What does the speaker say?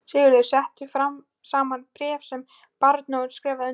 Sigurður setti saman bréf sem baróninn skrifaði undir.